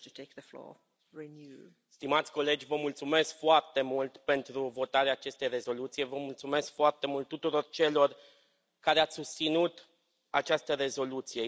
Doamnă președintă, stimați colegi, vă mulțumesc foarte mult pentru votarea acestei rezoluții. Vă mulțumesc foarte mult tuturor celor care ați susținut această rezoluție.